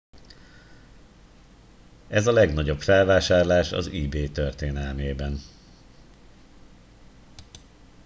ez a legnagyobb felvásárlás az ebay történelmében